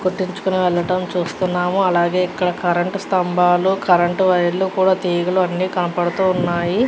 కొట్టించుకొని వెళ్లడం మనం చుస్తునాం అలాగే ఇక్కడ కరెంటు స్థంబాలు కరెంటు వైర్లు కూడా తీగలు అన్ని కనపడుతూ ఉన్నాయ్ --